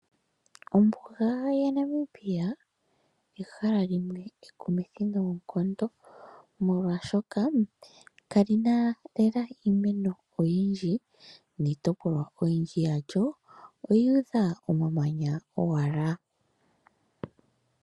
Ombuga yaNamibia ehala limwe ekumithi noonkondo, molwaashoka kali na lela iimeno oyindji. Niitopolwa oyindji yalyo oyuudha owala omamanya.